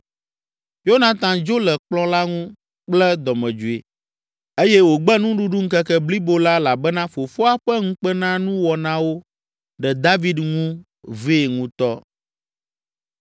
Yonatan dzo le kplɔ̃ la ŋu kple dɔmedzoe eye wògbe nuɖuɖu ŋkeke blibo la elabena fofoa ƒe ŋukpenanuwɔnawo ɖe David ŋu vee ŋutɔ.